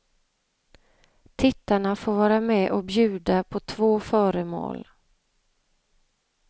Tittarna får vara med och bjuda på två föremål.